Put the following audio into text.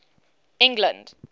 england